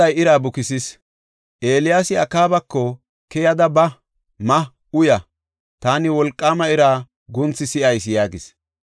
Eeliyaasi Akaabako, “Keyada ba; ma; uya; taani, wolqaama ira guunthi si7ayis” yaagis.